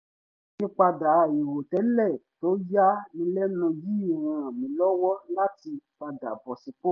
àyípadà àìrò tẹ́lẹ̀ tó ya ni lẹ́nu yìí ràn mí lọ́wọ́ láti padà bọ́ sípò